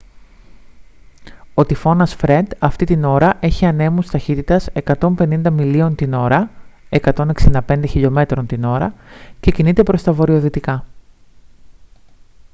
ο τυφώνας φρεντ αυτή την ώρα έχει ανέμους ταχύτητας 105 μιλίων την ώρα 165 χλμ / ώρα και κινείται προς τα βορειοδυτικά